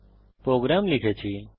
আমি ইতিমধ্যে প্রোগ্রাম লিখেছি